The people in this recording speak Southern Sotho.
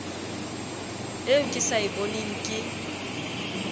eo ke sa eboneng ke